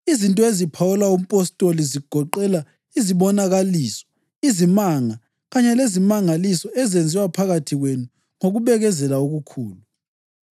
Izinto eziphawula umpostoli zigoqela izibonakaliso, izimanga kanye lezimangaliso ezenziwa phakathi kwenu ngokubekezela okukhulu.